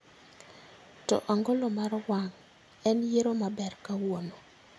To angolo mar wang' en yiero maber kawuono